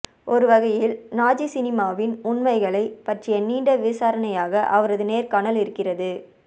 ஒருவகையில் நாஜி சினிமாவின் உண்மைகளை பற்றிய நீண்ட விசாரணையாக அவரது நேர்காணல் இருக்கிறது